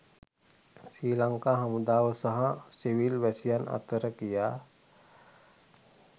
ශ්‍රී ලංකා හමුදාව සහ සිවිල් වැසියන් අතර කියා